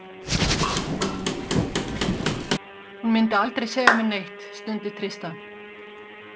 Hún myndi aldrei segja mér neitt, stundi Tristan.